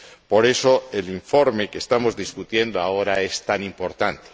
Por eso, el informe que estamos discutiendo ahora es tan importante